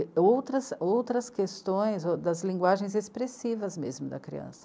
outras outras questões das linguagens expressivas mesmo da criança.